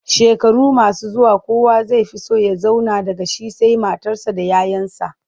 Shekaru masu zuwa kowa zai fi so ya zauna daga shi sai matarsa da 'ya 'yansa.